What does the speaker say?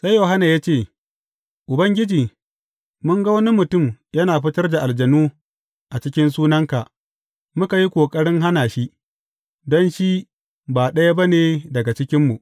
Sai Yohanna ya ce, Ubangiji, mun ga wani mutum yana fitar da aljanu a cikin sunanka, muka yi ƙoƙarin hana shi, don shi ba ɗaya ba ne daga cikinmu.